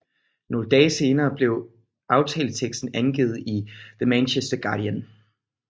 Nogle dage senere blev aftaleteksten gengivet i The Manchester Guardian